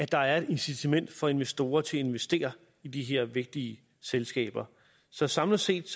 der er et incitament for investorer til at investere i de her vigtige selskaber så samlet set